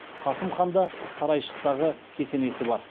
қасым ханда сарайшықтағы кесенесі бар